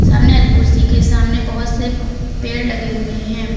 सामने वाली कुर्सी के सामने बहोत से पेड़ लगे हुए हैं।